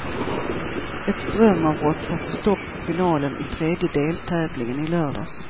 Ett strömavbrott satte stopp för finalen i tredje deltävlingen i lördags.